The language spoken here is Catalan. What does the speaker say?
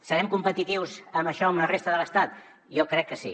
serem competitius en això amb la resta de l’estat jo crec que sí